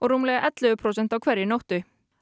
rúmlega ellefu prósent á hverri nóttu